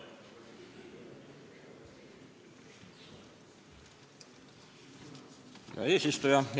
Härra eesistuja!